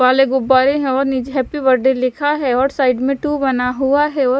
वाले गुब्बारे है और नीचे हैप्पी बर्थडे लिखा है और साइड में टू बना हुआ है और --